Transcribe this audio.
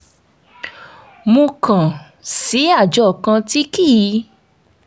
mo kàn sí àjọ kan tí kì í